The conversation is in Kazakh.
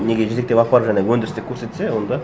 неге жетектеп апарып жаңағы өндірісті көрсетсе онда